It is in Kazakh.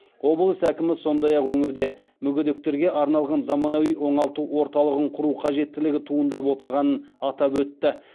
облыс әкімі сондай ақ өңірде мүгедектерге арналған заманауи оңалту орталығын құру қажеттілігі туындап отырғанын атап өтті